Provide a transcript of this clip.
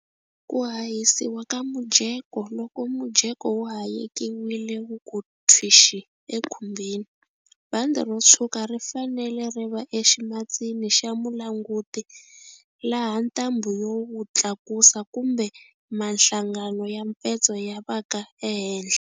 Ku hahisiwa ka mujeko loko mujeko wu hayekiwile wu ku thwixi ekhumbini, bandi ro tshwuka ri fanele ri va eximatsini xa mulanguti laha ntambhu yo wu tlakusa kumbe mahlangano ya mpetso ya va ka ehenhla.